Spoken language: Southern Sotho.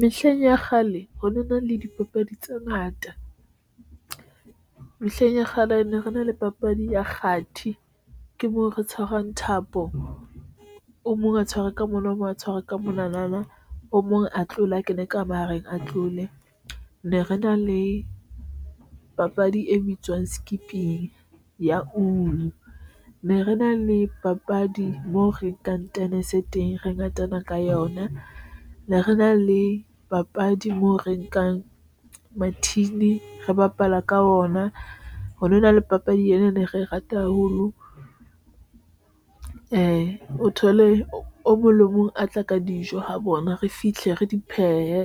Mehleng ya kgale ho no na le dipapadi tse ngata mehleng ya kgale ne rena le papadi ya kgathi, ke moo re tshwarang thapo o mong a tshwarwe ka mona o mong a tshwarwe ka mona na, o mong a tlole a kene ka mahareng a tlole ne re na le papadi e bitswang skipping ne re na le papadi moo re kang tennis e teng, re ngatana ka yona, ne re na le papadi moo re nkang mathini, re bapala ka ona ho no na le papadi ena ne re rata haholo a o thole o mong le mong a tla ka dijo ho bona, re fihle re di phehe,